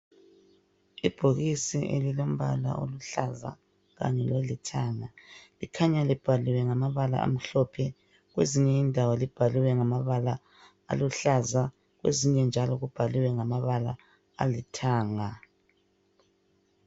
Ibhokisi elilompala oluhlaza kanye lolithanga likhanya libhaliwe ngamabala amhlophe kwezinye indawo libhaliwe ngamabala aluhlaza kwezinye njalo kubhaliwe ngamabala alithanga.